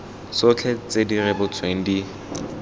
tsotlhe tse di rebotsweng di